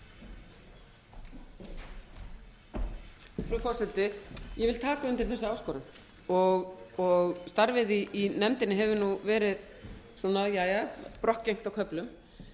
frú forseti ég vil taka undir þessa áskorun starfið í nefndinni hefur nú verið svona jæja brokkgengt á köflum